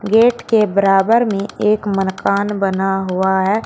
Gate के बराबर में एक मनकान बना हुआ है।